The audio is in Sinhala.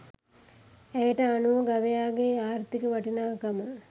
ඇයට අනුව ගවයාගේ ආර්ථික වටිනාකම